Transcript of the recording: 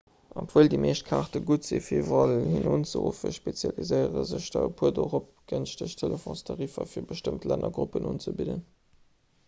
obwuel déi meescht kaarte gutt sinn fir iwwerall hin unzeruffen spezialiséiere sech der e puer dorop gënschteg telefonstariffer fir bestëmmt lännergruppen unzebidden